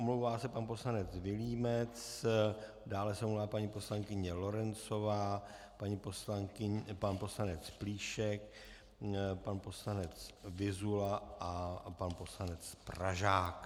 Omlouvá se pan poslanec Vilímec, dále se omlouvá paní poslankyně Lorencová, pan poslanec Plíšek, pan poslanec Vyzula a pan poslanec Pražák.